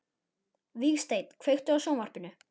Vígsteinn, kveiktu á sjónvarpinu.